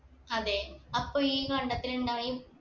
അതെ അപ്പൊ ഈ കണ്ടത്തിലുണ്ടായും